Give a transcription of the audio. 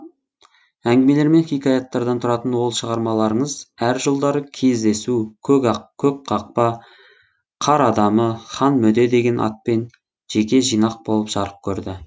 әңгімелер мен хикаяттардан тұратын ол шығармаларыңыз әр жылдары кездесу көк қақпа қар адамы хан мөде деген атпен жеке жинақ болып жарық көрді